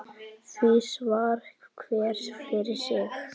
Því svarar hver fyrir sig.